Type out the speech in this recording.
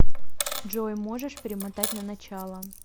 джой можешь перемотать на начало